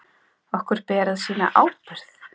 Okkur ber að sýna ábyrgð.